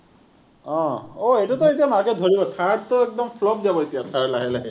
অ, এইটোতো এতিয়া market ধৰিব। THAR টো একদম flop যাব এতিয়া লাহে লাহে।